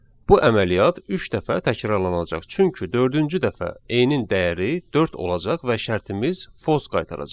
Bu əməliyyat üç dəfə təkrarlanacaq, çünki dördüncü dəfə N-in dəyəri dörd olacaq və şərtimiz false qaytaracaq.